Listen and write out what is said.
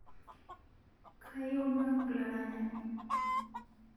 Kayieu naaku laranyani